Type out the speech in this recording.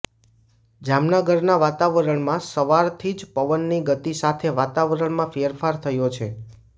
જામનગરના વાતાવરણમાં સવારથી જ પવનની ગતિ સાથે વાતાવરણમાં ફેરફાર થયો છે